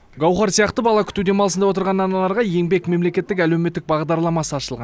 гауһар сияқты бала күту демалысында отырған аналарға еңбек мемлекеттік әлеуметтік бағдарламасы ашылған